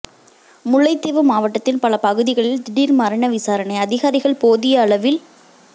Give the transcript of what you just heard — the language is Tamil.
முல்லைத்தீவு மாவட்டத்தின் பல பகுதிகளில் திடீர் மரண விசாரணை அதிகாரிகள் போதியளவில்